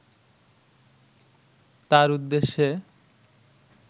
তার উদ্দেশ্যে